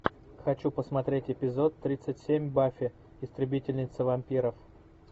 хочу посмотреть эпизод тридцать семь баффи истребительница вампиров